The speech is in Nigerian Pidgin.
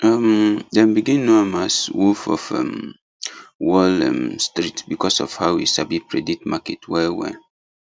um dem begin know am as wolf of um wall um street because of how e sabi predict market well well